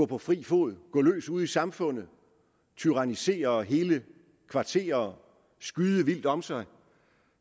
på fri fod gå løs ude i samfundet tyrannisere hele kvarterer skyde vildt om sig